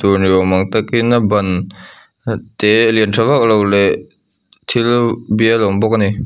tur ni awm ang tak in a ban te lian tha vak lo leh thil bial a awm bawk a ni.